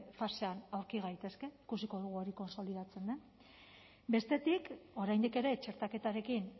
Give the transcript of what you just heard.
fasean aurki gaitezke ikusiko dugu hori kontsolidatzen den bestetik oraindik ere txertaketarekin